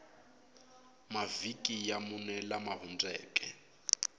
mavhiki ya mune lama hundzeke